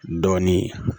Dɔɔnin